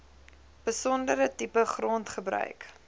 besondere tipe grondgebruik